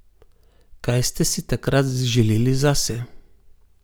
Kaj ste si takrat želeli zase?